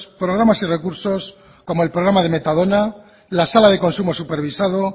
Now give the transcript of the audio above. programas y recursos como el programa de metadona la sala de consumo supervisado